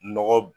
Nɔgɔ